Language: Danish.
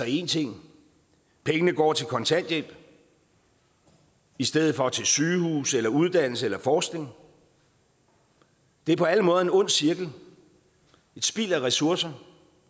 én ting pengene går til kontanthjælp i stedet for til sygehuse eller uddannelse eller forskning det er på alle måder en ond cirkel og spild af ressourcer